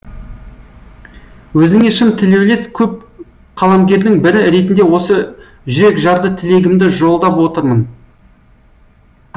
өзіңе шын тілеулес көп қаламгердің бірі ретінде осы жүрекжарды тілегімді жолдап отырмын